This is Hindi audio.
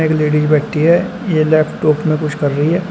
यह लेडिस बैठी है ये लैपटॉप में कुछ कर रही है।